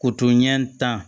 Koto ɲɛ tan